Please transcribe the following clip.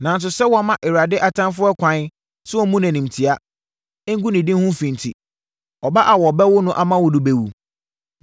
Nanso, sɛ woama Awurade atamfoɔ ɛkwan sɛ wɔmmu no animtia, ngu ne din ho fi enti, ɔba a wɔbɛwo no ama wo no bɛwu.”